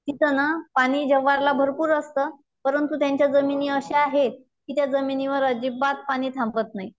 तिथं ना पाणी जव्हारला भरपूर असत परंतु त्यांच्या जमिनी अशा आहेत कि त्या जमिनीवर अजिबात पाणी थांबत नाही.सर्व पाणी ओघलुन जात